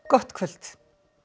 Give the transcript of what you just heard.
gott kvöld